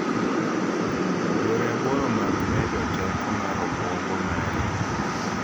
Yore aboro mag medo teko mar obwongo mari